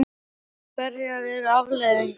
En hverjar eru afleiðingarnar?